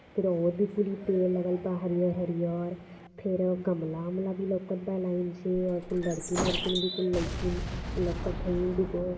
फिर और भी कुली पेड़ लगल बा हरियर हरियर फिर गमला ओमला भी लउकता बा लाइन सेऔर कुल लड़की ओरकिन भी कुल लइकिन लउकत हैइ दुगो --